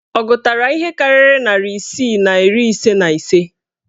Ọ gụtara ihe karịrị narị isii na iri ise na ise?